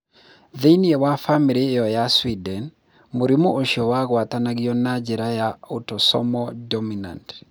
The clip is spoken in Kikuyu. Thĩinĩ wa bamĩrĩ ĩyo ya Sweden, mũrimũ ũcio wagwatanagio na njĩra ya autosomal dominant.